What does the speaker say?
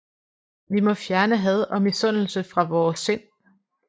Vi må fjerne had og misundelse fra vore sind